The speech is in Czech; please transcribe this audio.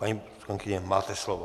Paní poslankyně, máte slovo.